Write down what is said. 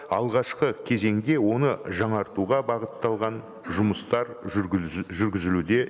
алғашқы кезеңде оны жаңартуға бағытталған жұмыстар жүргізілуде